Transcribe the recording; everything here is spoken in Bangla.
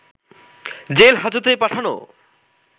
জেল হাজতে পাঠানো